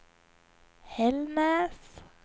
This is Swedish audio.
Hällnäs